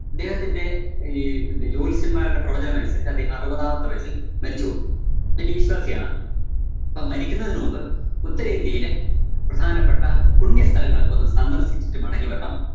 അദ്ദേഹത്തിന്റെ ഈ പിന്നെ ജോത്സ്യന്മാരുടെ പ്രവചനമനുസരിച്ച് അദ്ദേഹം അറുപതാമത്തെ വയസ്സില്‍ മരിച്ചുപോവും. ശ്വാസിയാണ്. അപ്പം മരിക്കുന്നതിന് മുമ്പ് ഉത്തരേന്ത്യയിലെ പ്രധാനപ്പെട്ട പുണ്യസ്ഥലങ്ങളൊക്കൊന്ന് സന്ദര്‍ശ്ശിച്ചിട്ട് മടങ്ങിവരണം